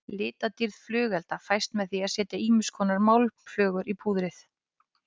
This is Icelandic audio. Litadýrð flugelda fæst með því að setja ýmiskonar málmflögur í púðrið.